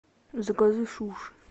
закажи суши